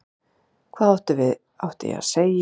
Hvað átti ég að segja?